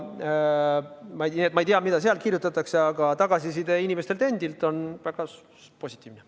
Ma ei tea, mida seal kirjutatakse, aga tagasiside inimestelt endilt on väga positiivne.